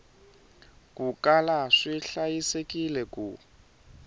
ku kala swi hlayisekile ku